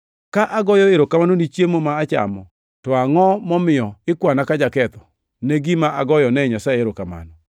Ka agoyo erokamano ni chiemo ma achamo, to angʼo momiyo ikwana ka jaketho ne gima agoyonee Nyasaye erokamano?